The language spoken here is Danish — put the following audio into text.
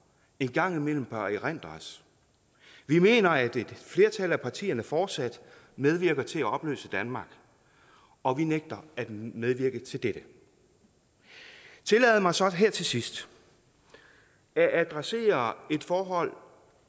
en gang imellem bør erindres vi mener at et flertal af partierne fortsat medvirker til at opløse danmark og vi nægter at medvirke til dette tillad mig så her til sidst at adressere et forhold